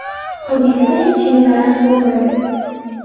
Hodisada hech kim zarar ko‘rmadi.